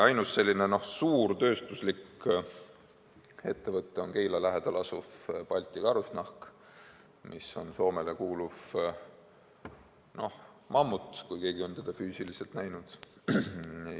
Ainus selline suur tööstuslik ettevõte on Keila lähedal asuv Balti Karusnahk, mis on Soomele kuuluv mammut – ehk on keegi seda füüsiliselt näinud?